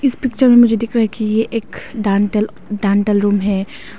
इस पिक्चर मुझे दिख रहा है कि ये एक डांटल डांटल रूम है।